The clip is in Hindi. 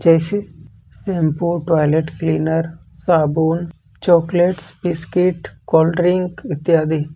जैसे शैंपू टॉयलेट क्लीनर साबुन चॉकलेट्स बिस्किट कोल्ड ड्रिंक इत्यादि।